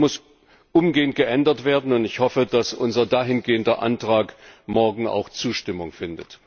Das muss umgehend geändert werden, und ich hoffe, dass unser entsprechender Antrag morgen auch Zustimmung findet.